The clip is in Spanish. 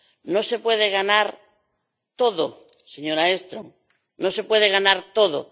No se puede ganar todo, señora Engström, no se puede ganar todo.